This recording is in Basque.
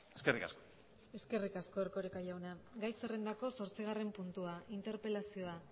eskerrik asko eskerrik asko erkoreka jauna gai zerrendako zortzigarren puntua interpelazioa